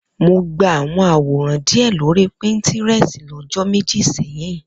Mo gba àwọn àwòrán díẹ̀ lórí píńtírẹ́sì lọ́jọ́ méjì sẹ́yìn.